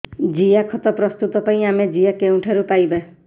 ଜିଆଖତ ପ୍ରସ୍ତୁତ ପାଇଁ ଆମେ ଜିଆ କେଉଁଠାରୁ ପାଈବା